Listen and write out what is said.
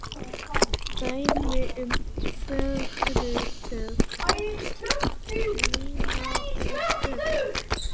Dæmi um frumhugtök eru punktur, lína og flötur.